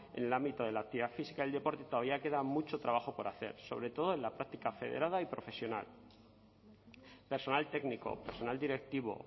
en el ámbito de la actividad física del deporte todavía queda mucho trabajo por hacer sobre todo en la práctica federada y profesional personal técnico personal directivo